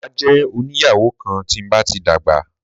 Mà jẹ́ oní ìyàwó kan tí n bá ti dàgbà.